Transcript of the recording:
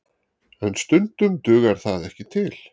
En stundum dugar það ekki til